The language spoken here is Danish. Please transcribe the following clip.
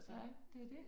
Nej det er det